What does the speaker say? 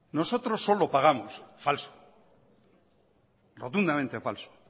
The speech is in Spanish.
nosotros solo pagamos falso rotundamente falso